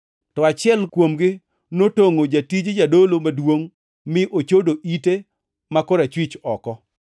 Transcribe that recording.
To achiel kuomgi notongʼo jatij jadolo maduongʼ mi ochodo ite ma korachwich oko.